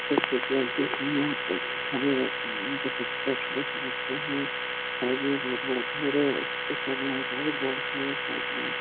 जैसे की आप देख रहे है एक सामने नीम का पत्ता सुबह-सुबह तोड़ रहे है साइड में एक बहोत बड़ा घर है उस-उस साइड में एक बहोत बड़ा घर है साइड में--